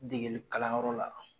Degelikalanyɔrɔ la.